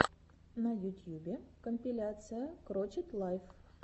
на ютьюбе компиляция крочет лайф